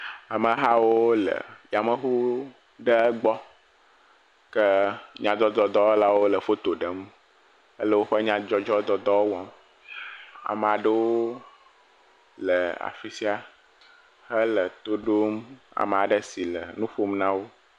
Ame hawo le yameŋu ɖe gbɔ ke nyadzɔdzɔdɔwɔlawo le foto ɖem ele woƒe nyadzɔdzɔ dɔ wɔm. Ame aɖewo le afi sia hele to ɖom ame aɖe si le nu ƒom na wo.